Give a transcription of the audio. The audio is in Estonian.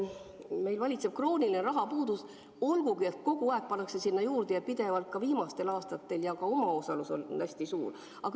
Meil valitseb krooniline rahapuudus, olgugi et kogu aeg pannakse sinna juurde ja seda tehakse pidevalt, ka viimastel aastatel on tehtud, ja ka omaosalus on hästi suur.